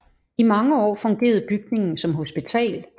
I mange år fungerede bygningen som hospital